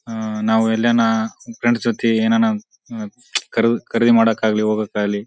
ಹ ನಾವು ಎಲ್ಲನ ಫ್ರೆಂಡ್ಸ್ ಜೊತಿ ಏನಾನ ಖಾರಿ ಖರೀದಿ ಮಾಡಕ್ಕಾಗಲಿ ಹೋಗಕ್ಕಾಗಲಿ.